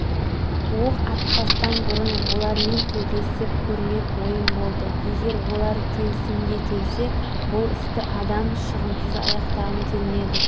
оқ атпастан бұрын олармен тілдесіп көрмек ойым болды егер олар келісімге келсе бұл істі адам шығынысыз аяқтағым келді